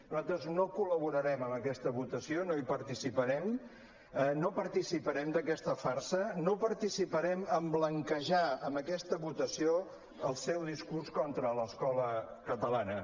nosaltres no col·laborarem en aquesta votació no hi participarem no participarem d’aquesta farsa no participarem en blanquejar amb aquesta votació el seu discurs contra l’escola catalana